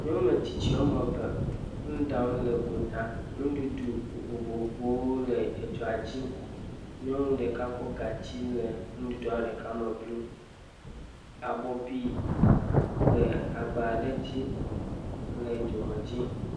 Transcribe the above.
Nyɔnu ame tsitsi woame eve nu ɖam le gota. Nuɖuɖu vovovowo le dzoa dzi. Nyɔnua ɖeka kɔ gatsi le nuɖuɖuɖa me blum. wo ababɔbi le agba aɖe dzi le dzoa dzi.